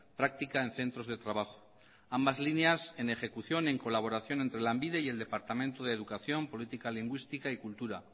práctica en centros de trabajo ambas líneas en ejecución en colaboración entre lanbide y el departamento de educación política lingüística y cultura